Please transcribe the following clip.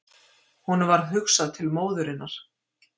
Honum varð hugsað til Móðurinnar.